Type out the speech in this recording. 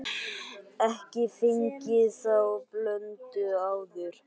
Ekki fengið þá blöndu áður.